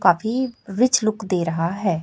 काफी rich look दे रहा है।